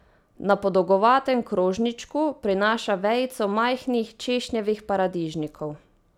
Na podolgovatem krožničku prinaša vejico majhnih češnjevih paradižnikov.